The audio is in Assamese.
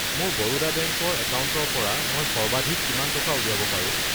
মোৰ বৰোদা বেংক ৰ একাউণ্টৰ পৰা মই সৰ্বাধিক কিমান টকা উলিয়াব পাৰো?